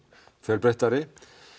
fjölbreyttari